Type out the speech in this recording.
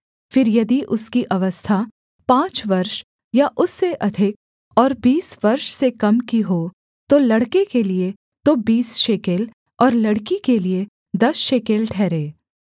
फिर यदि उसकी अवस्था पाँच वर्ष या उससे अधिक और बीस वर्ष से कम की हो तो लड़के के लिये तो बीस शेकेल और लड़की के लिये दस शेकेल ठहरे